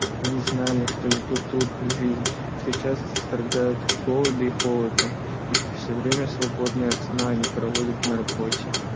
они знали что ведут трудную жизнь что часто страдают от голода и холода и что всё время свободное от сна они проводят на работе